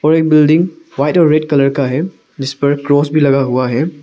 और एक building white और रेड कलर का है जिस पर क्रॉस भी लगा हुआ है।